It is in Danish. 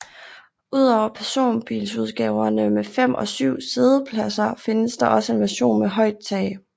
Ud over personbilsudgaverne med fem og syv siddepladser findes der også en version med højt tag